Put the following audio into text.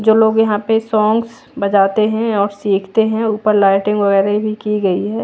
जो लोग यहां पे सोंग्स बजाते हैं और सीखते हैं ऊपर लाइटिंग वगैरह भी की गई है।